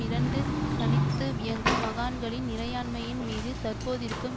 இரண்டு தனித்து இயங்கும் மகாணங்களின் இறையாண்மையின் மீது தற்போதிருக்கும்